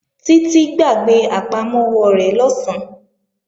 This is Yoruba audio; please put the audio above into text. Títí gbàgbé àpamọ́wọ́ rẹ̀ lọ̀sán